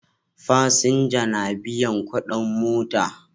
Fasinja na biyan kudin mota